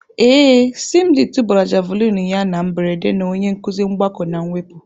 Ee, Simdi tụbara Javulinị ya na mberede na onye nkuzi mgbakọ na mwepụ.